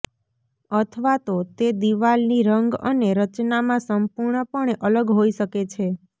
અથવા તો તે દિવાલની રંગ અને રચનામાં સંપૂર્ણપણે અલગ હોઈ શકે છે